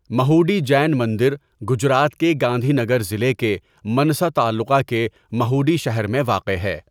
مہوڈی جین مندر گجرات کے گاندھی نگر ضلع کے منسا تعلقہ کے مہوڈی شہر میں واقع ہے۔